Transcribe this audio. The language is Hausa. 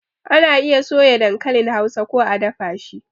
Ana iya soya dankalin Hausa ko a dafa shi